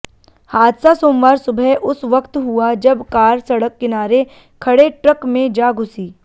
हादसा सोमवार सुबह उस वक्त हुआ जब कार सडक किनारे खडे ट्रक में जा घुसी